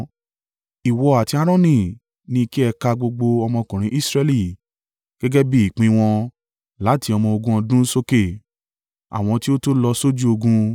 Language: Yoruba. Ìwọ àti Aaroni ni kí ẹ kà gbogbo ọmọkùnrin Israẹli gẹ́gẹ́ bí ìpín wọn láti ọmọ ogún ọdún sókè, àwọn tí ó tó lọ sójú ogun.